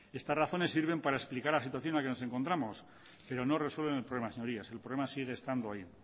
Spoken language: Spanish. estas razones sirven para explicar las situaciones en las que nos encontramos pero no resuelven el problema señorías el problema sigue estando ahí